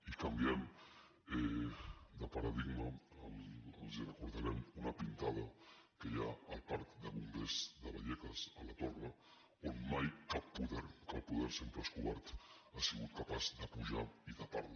i canviant de paradigma els recordarem una pintada que hi ha al parc de bombers de vallecas a la torre on mai cap poder que el poder sempre és covard ha sigut capaç de pujar i tapar la